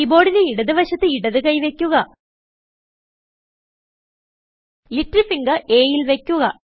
key ബോർഡിന്റെ ഇടത് വശത്ത് ഇടത് കൈ വയ്ക്കുക ലിറ്റിൽ ഫിംഗർ Aൽ വയ്ക്കുക